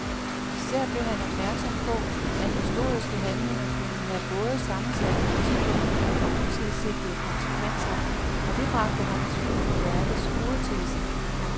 Især blev han opmærksom på at historiske handlinger kunne have både sammensatte motiver og utilsigtede konsekvenser, og det bragte ham i tvivl om værkets hovedtese.